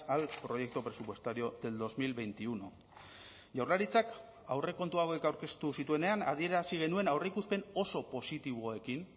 al proyecto presupuestario del dos mil veintiuno jaurlaritzak aurrekontu hauek aurkeztu zituenean adierazi genuen aurreikuspen oso positiboekin